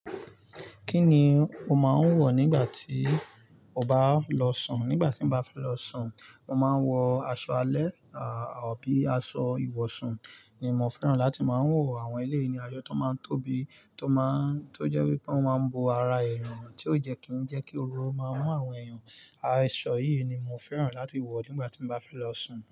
Kí ni o máa ń wọ̀ nígbà tí o bá lọ sùn? Nígbà tí mo bá fẹ́ lọ sùn, mo máa ń wọ aṣọ alẹ́ àbí aṣọ ìwọ̀sùn ni mo fẹ́ràn láti máa ń wọ̀. Àwọn eleyi asọ tó máa ń tóbi, tó jẹ́ wípé wọ́n máa ń bo ara ẹ̀eyàn, tí ó jẹ́ kí ń jẹ́ kí oru o máa mú àwọn ẹ̀yàn. Aṣọ yìí ni mo fẹ́ràn láti wọ̀ nígbà tí mo bá fẹ́ lọ sùn.